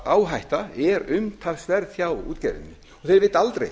áhætta er umtalsverð hjá útgerðinni og þeir vita aldrei